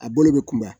A bolo bɛ kunba